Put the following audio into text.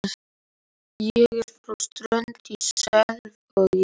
Ég er frá Strönd í Selvogi.